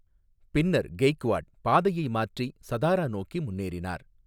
பின்னர், கெய்க்வாட் பாதையை மாற்றி, சதாரா நோக்கி முன்னேறினார்.